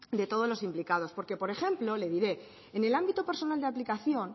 de todos los implicados porque por ejemplo le diré en el ámbito personal de aplicación